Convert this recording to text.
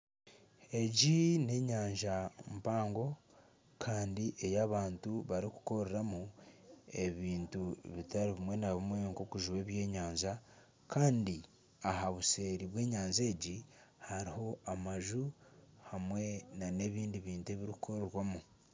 Abashaija bashatu bari omu nyanja baine endobo nibashoha. Hariho ekyererezi. Omwanya ogu barimu gurimu omwirima.